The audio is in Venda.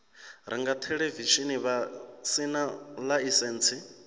renga theḽevishini vha sina ḽaisentsi